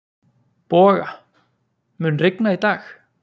Boga, mun rigna í dag?